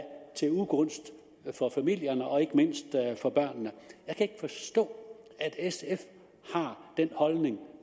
til ugunst for familierne og ikke mindst for børnene jeg kan ikke forstå at sf har den holdning